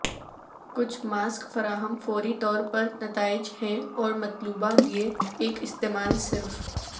کچھ ماسک فراہم فوری طور پر نتائج ہیں اور مطلوبہ لئے ایک استعمال صرف